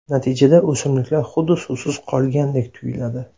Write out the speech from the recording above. Natijada o‘simliklar xuddi suvsiz qolgandek tuyiladi.